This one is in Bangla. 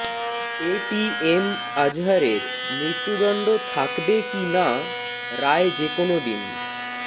এ টি এম আজহারের মৃত্যুদণ্ড থাকবে কি না রায় যেকোনো দিন